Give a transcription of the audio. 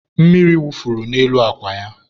mmiri wufuru n'elu akwa ya